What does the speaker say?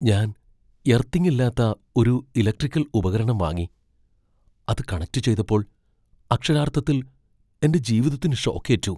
ഞാൻ എർത്തിംഗ് ഇല്ലാത്ത ഒരു ഇലക്ട്രിക്കൽ ഉപകരണം വാങ്ങി, അത് കണക്റ്റ് ചെയ്തപ്പോൾ അക്ഷരാർത്ഥത്തിൽ എന്റെ ജീവിതത്തിന് ഷോക്ക് ഏറ്റു.